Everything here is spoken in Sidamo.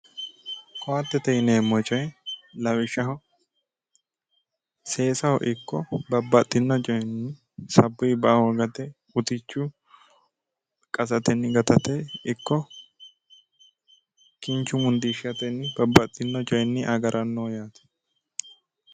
Koattete yineemmo coyi lawishshaho seesaho ikko babbaxxinno coyinni sabbuyi ba"a hoogate utichu qasatenni gatate ikko kinchu mundiishshatenni babbaxxinno coyinni agarannoho yaate.